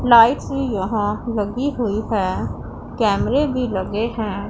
Lights भी यहां लगी हुई है कैमरे भी लगे हैं।